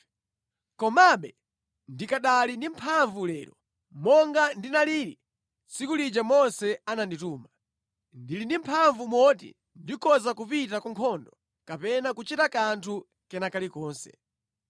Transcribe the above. Komabe ndikanali ndi mphamvu lero, monga ndinalili tsiku lija Mose anandituma. Ndili ndi mphamvu moti ndikhoza kupita ku nkhondo kapena kuchita kanthu kena kalikonse.